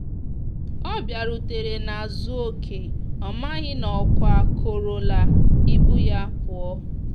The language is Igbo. ọ biarutere n'azu okeọmaghi na ọkwa kọrọ la ibụ ya puọ